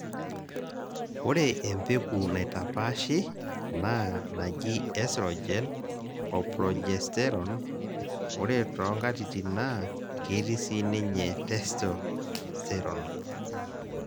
ore empeku naitapaashi naa naji esrogen o progesterone ore too nkatitin naa ketii sii ninye testosterone.